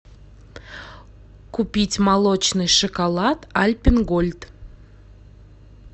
купить молочный шоколад альпен гольд